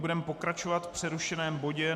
Budeme pokračovat v přerušeném bodě